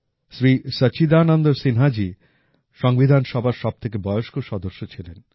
শ্রী সচ্চিদানন্দ সিন্হাজি সংবিধান সভার সবথেকে বয়স্ক সদস্য ছিলেন